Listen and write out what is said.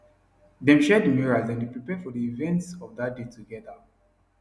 dem share the mirror as dem dae prepare for the events of that day together